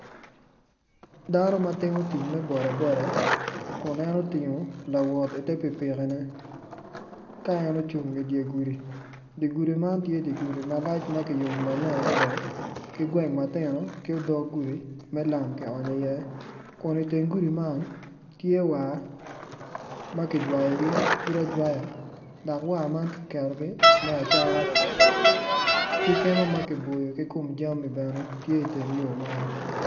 Dano matimo tic me bodaboda ku nen otingo lawot i ter pipiki ne ka en ocung i dyer gudi dyer gudi man tye dyer gudi malac makiyubo maleng adada kigweng matino ki odog gudi me lam ki onyo i ye kun i teng gudi man tye war makijwayogi pud ajwaya dok war man kiketogi me acata kikema makiboyo i kom jami bene tye i teng yo man.